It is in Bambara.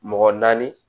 Mɔgɔ naani